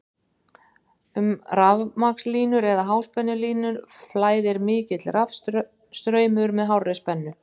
um rafmagnslínur eða háspennulínur flæðir mikill rafstraumur með hárri spennu